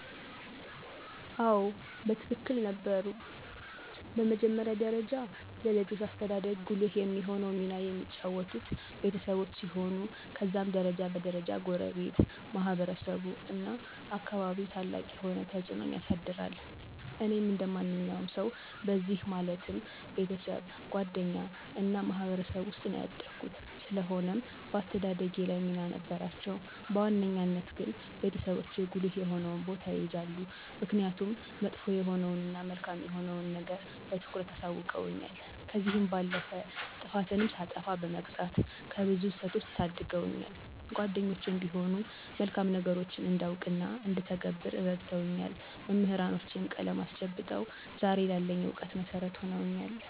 አዎ በትክክል ነበሩ። በመጀመሪያ ደረጃ ለልጆች አስተዳደግ ጉልህ የሆነውን ሚና የሚጫወቱት ቤተሰቦች ሲሆኑ ከዛም ደረጃ በ ደረጃ ጎረቤት፣ ማህበረሰቡ እናም አካባቢው ታላቅ የሆነ ተፅዕኖን ያሳድራል። እኔም እንደ ማንኛውም ሰዉ በእነዚህ ማለትም፦ ቤተሰብ፣ ጓደኛ እና ማህበረሰብ ዉስጥ ነው ያደኩት። ስለሆነም በአስተዳደጌ ላይ ሚና ነበራቸው። በዋነኛነት ግን ቤተሰቦቼ ጉልህ የሆነውን ቦታ ይይዛሉ። ምክኒያቱም መጥፎ የሆነዉን እና መልካም የሆነዉን ነገር በትኩረት አሳዉቀዉኛል፤ ከዚህም ባለፈ ጥፋትንም ሳጠፋ በመቅጣት ከብዙ ስህተቶች ታድገውኛል። ጓደኞቼም ቢሆኑ መልካም ነገሮችን እንዳውቅ እና እንድተገብር እረድተውኛል፤ መምህራኖቼም ቀለም አስጨብጠው ዛሬ ላለኝ እውቀት መሠረት ሁነውኛል።